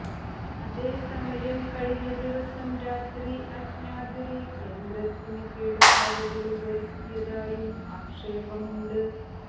അതേസമയം കഴിഞ്ഞ ദിവസം രാത്രി അജ്ഞാതര് യന്ത്രത്തിന് കേടുപാടുകള് വരുത്തിയതായും ആക്ഷേപമുണ്ട്